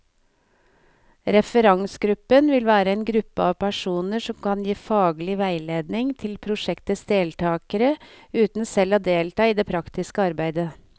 Referansegruppen vil være en gruppe av personer som kan gi faglig veiledning til prosjektets deltagere, uten selv å delta i det praktiske arbeidet.